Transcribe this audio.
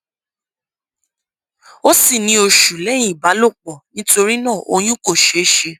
o sì ní oṣù lẹyìn ìbálòpọ nítorí náà oyún kò ṣeé ṣe